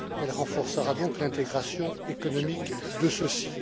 Elle renforcera donc l'intégration économique de ceux ci.